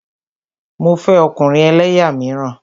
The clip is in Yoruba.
Mo fẹ́ ọkùnrin ẹlẹ́yà míràn.